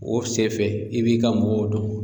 O sen fɛ i b'i ka mɔgɔw dɔn.